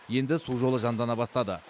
енді су жолы жандана бастады